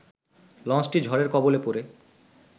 লঞ্চটি ঝড়ের কবলে পড়ে